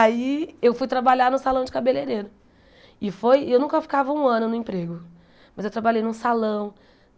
Aí eu fui trabalhar no salão de cabeleireiro e foi e eu nunca ficava um ano no emprego, mas eu trabalhei num salão.